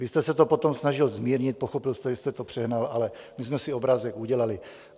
Vy jste se to potom snažil zmírnit, pochopil jste, že jste to přehnal, ale my jsme si obrázek udělali.